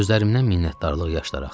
Gözlərimdən minnətdarlıq yaşları axırdı.